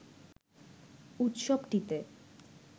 উৎসবটিতে